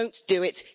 Don't do it.